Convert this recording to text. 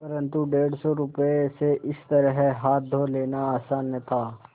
परन्तु डेढ़ सौ रुपये से इस तरह हाथ धो लेना आसान न था